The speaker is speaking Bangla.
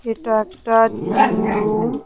এটা একটা জিম রুম ।